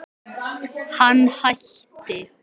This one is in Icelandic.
Sko, það er hérna þannig.